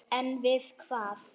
En við hvað?